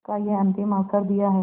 का यह अंतिम अवसर दिया है